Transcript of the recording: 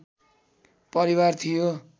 परिवार थियो